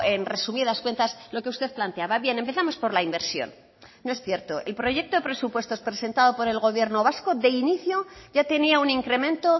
en resumidas cuentas lo que usted planteaba bien empezamos por la inversión no es cierto el proyecto de presupuestos presentado por el gobierno vasco de inicio ya tenía un incremento